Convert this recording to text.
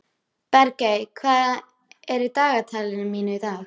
Bergey, hvað er í dagatalinu mínu í dag?